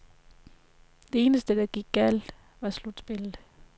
Det eneste, der gik galt, var slutspillet.